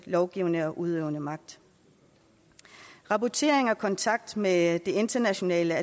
lovgivende og udøvende magt rapportering og kontakt med det internationale